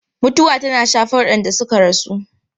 Mutuwa tana shafar waɗanda suka rasu.